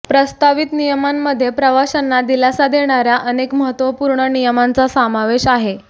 प्रस्तावित नियमांमध्ये प्रवाशांना दिलासा देणाऱ्या अनेक महत्त्वपूर्ण नियमांचा समावेश आहे